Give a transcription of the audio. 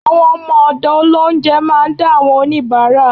Àwọn ọmọ ọ̀dọ̀ Ọlọhunjẹ máa ń dá àwọn oníbárà